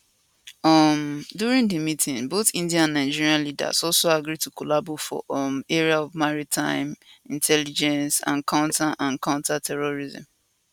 um during di meeting both india and nigeria leaders also agree to collabo for um area of maritime intelligence and counter and counter terrorism